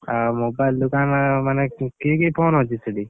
ଆଉ mobile ଦୋକାନ ମାନେ, କି କି phone ଅଛି ସେଠି?